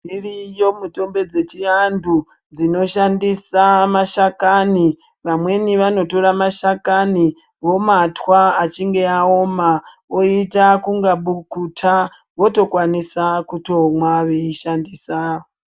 Dziriyo mutombo dzechiantu dzinoshandisa mashakani. Vamweni vanotora mashakani vomatwa, achinge aoma oita kunga bukuta, votokwanisa kutomwa veishandisa.